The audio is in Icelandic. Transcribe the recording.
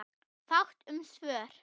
Fátt um svör.